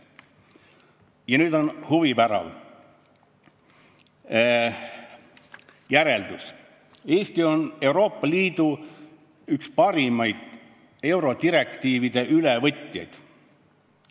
Ja nüüd huvitav asi: Eesti on üks parimaid Euroopa Liidu direktiivide ülevõtjaid.